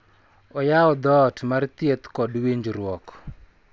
Oyawo dhoot mar thieth kod winjruok.